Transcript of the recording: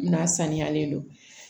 N'a sanuyalen do